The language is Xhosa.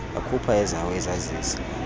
akhupha ezawo izazisi